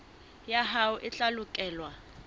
ya hao e tla lekolwa